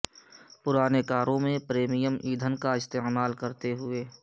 پرانے کاروں میں پریمیم ایندھن کا استعمال کرتے ہوئے